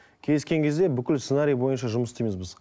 кездескен кезде бүкіл сценарий бойынша жұмыс істейміз біз